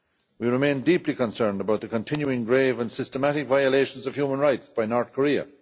We remain deeply concerned about the continuing grave and systematic violations of human rights by North Korea.